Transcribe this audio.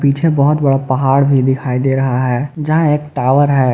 पीछे बहुत बड़ा पहाड़ भी दिखाई दे रहा है यहां एक टावर है।